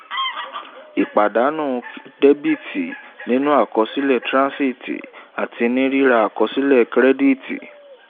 ìpàdánù dẹ́bìtì nínú àkọsílẹ̀ transit àti rírà àkọsílẹ̀ kírẹ́díìtì